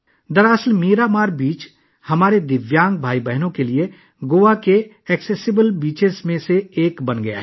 درحقیقت، 'میرامار بیچ' ہمارے دیویانگ بھائیوں اور بہنوں کے لیے گوا کے قابل رسائی ساحلوں میں سے ایک بن گیا ہے